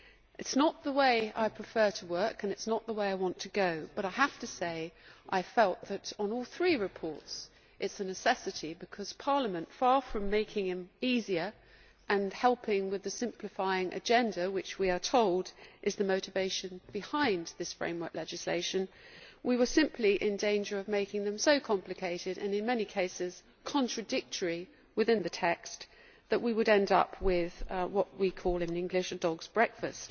It is not the way I prefer to work and it is not the way I want to go, but I have to say I felt that on all three reports it is a necessity because, far from Parliament making it easier and helping with the simplifying agenda which, we are told, is the motivation behind this framework legislation, we were simply in danger of making them so complicated and in many cases contradictory within the text that we would end up with what we call in English a dog's breakfast.